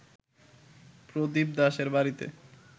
প্রদীপ দাশের বাড়িতে